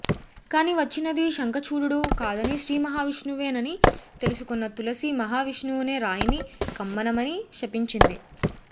కాని వచ్చినది శంఖచూడుడు కాదని శ్రీ మహావిష్ణువే నని తెలుసుకొన్న తులసి మహావిష్ణువునే రాయిని కమ్మనమని శపించింది